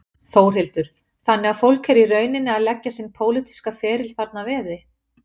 Þórhildur: Þannig að fólk er í rauninni að leggja sinn pólitíska ferli þarna að veði?